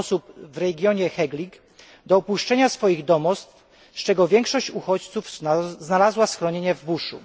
osób w regionie Heglig do opuszczenia swoich domostw, z czego większość uchodźców znalazła schronienie w buszu.